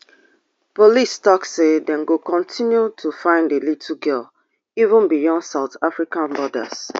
police tok say dem go continue dey find di little girl even beyond south africa borders